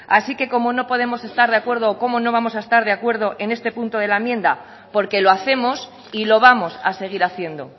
así que cómo no podemos estar de acuerdo cómo no vamos a estar de acuerdo en este punto de la enmienda porque lo hacemos y lo vamos a seguir haciendo